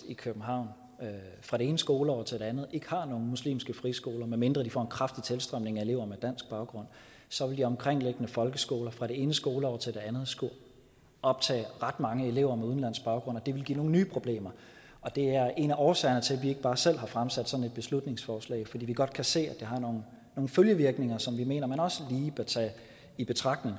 i københavn fra det ene skoleår til det andet ikke har nogen muslimske friskoler medmindre de får en kraftig tilstrømning af elever med dansk baggrund så vil de omkringliggende folkeskoler fra det ene skoleår til det andet skulle optage ret mange elever med udenlandsk baggrund og det ville give nogle nye problemer og det er en af årsagerne til at vi ikke bare selv har fremsat sådan et beslutningsforslag altså fordi vi godt kan se at det har nogle følgevirkninger som vi mener man også lige bør tage i betragtning